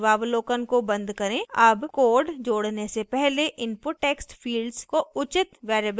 अब code जोड़ने से पहले input text fields को उचित variable now देते हैं